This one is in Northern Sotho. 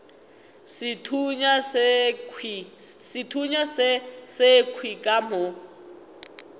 sethunya se sekhwi ka mo